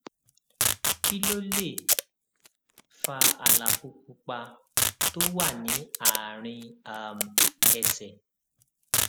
kí ló lè fa àlàfo pupa tó wà ní àárín um ẹsè